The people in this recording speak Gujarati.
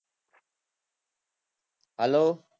હાલો